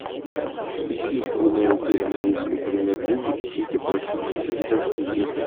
ищи прямой эфир английской премьер лиги сити против манчестер сити